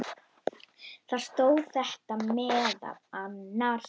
Þar stóð þetta meðal annars